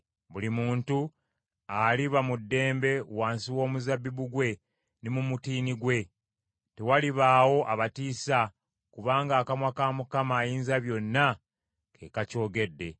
Buli muntu aliba mu ddembe wansi w’omuzabbibu gwe ne mu mutiini gwe. Tewalibaawo abatiisa kubanga akamwa ka Mukama Ayinzabyonna ke kakyogedde.